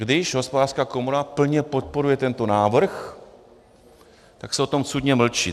Když Hospodářská komora plně podporuje tento návrh, tak se o tom cudně mlčí.